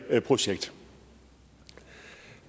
projekt